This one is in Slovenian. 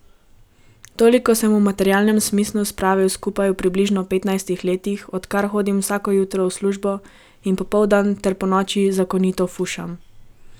Toliko sem v materialnem smislu spravil skupaj v približno petnajstih letih, odkar hodim vsako jutro v službo in popoldan ter ponoči zakonito fušam.